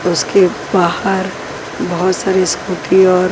उसके बाहर बहुत सारी स्मृति और।